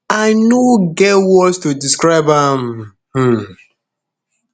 i no get words to describe am am um